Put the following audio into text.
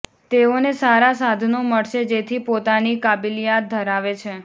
તેવોને સારા સાધનો મળશે જેથી પોતાની કાબિલીયત ધરાવે છે